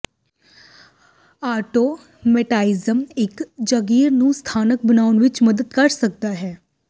automatisms ਇੱਕ ਜਗੀਰ ਨੂੰ ਸਥਾਨਕ ਬਣਾਉਣ ਵਿੱਚ ਮਦਦ ਕਰ ਸਕਦਾ ਹੈ